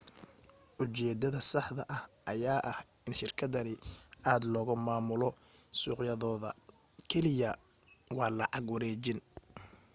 u jeedada saxda ah ayaa ah in shirkadani aad loogu maamulo suuqyadooda kaliya waa lacag wareejin